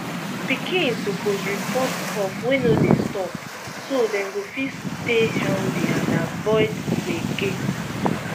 pikin suppose report cough wey no dey stop so dem go fit stay healthy and avoid gbege